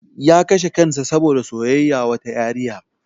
Ya kashe kansa saboda soyayya wata yariya.